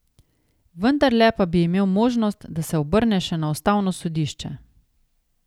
Vendarle pa bi imel možnost, da se obrne še na ustavno sodišče.